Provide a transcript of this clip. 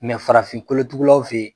farafin kolotugulaw fe